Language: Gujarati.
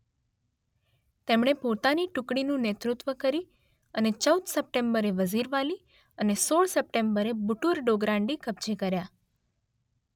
તેમણે પોતાની ટુકડીનું નેતૃત્વ કરી અને ચૌદ સપ્ટેમ્બરે વઝીરવાલી અને સોળ સપ્ટેમ્બરે બુટુર ડોગરાન્ડી કબ્જે કર્યા